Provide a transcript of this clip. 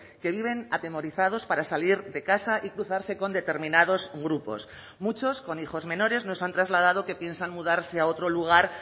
que viven atemorizados para salir de casa y cruzarse con determinados grupos muchos con hijos menores nos han trasladado que piensan mudarse a otro lugar